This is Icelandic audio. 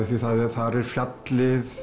þar er fjallið